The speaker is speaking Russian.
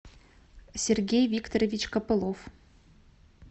сергей викторович копылов